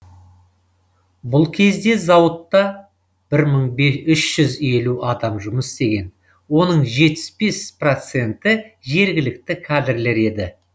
бұл кезде зауыттта бір мың үш жүз елу адам жұмыс істеген оның жетпіс бес проценті жергілікті кадрлер еді